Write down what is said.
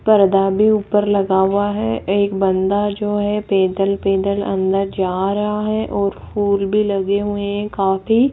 पर्दा भी ऊपर लगा हुआ है एक बंदा जो है पैदल पैदल अंदर जा रहा है और फूल भी लगे हुए है काफी।